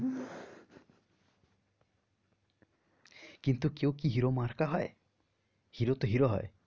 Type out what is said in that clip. কিন্তু কেউ কি হিরো মার্কা হয় হিরো তো হিরো হয়